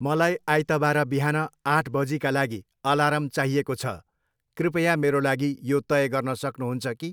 मलाई आइतबार बिहान आठ बजीका लागि अलार्म चाहिएको छ, कृपया मेरा लागि यो तय गर्न सक्नुहुन्छ कि?